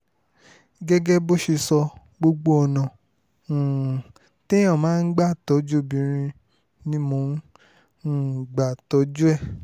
gẹ́gẹ́ bó ṣe sọ gbogbo ọ̀nà um téèyàn máa ń gbà tọ́jú obìnrin ni mò ń um gbà tọ́jú ẹ̀